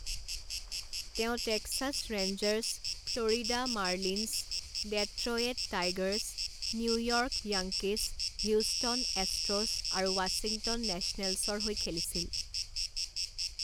তেওঁ Texas Rangers, Florida Marlins, Detroit Tigers, New York Yankees, Houston Astros আৰু Washington নেচনেলছৰ হৈ খেলিছিল।